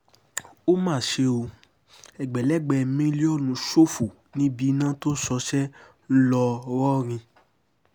ó mà ṣe o ẹgbẹ̀lẹ́gbẹ́ mílíọ̀nù ṣòfò níbi iná tó ṣọṣẹ́ ńlọrọrìn